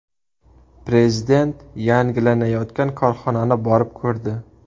Prezident yangilanayotgan korxonani borib ko‘rdi.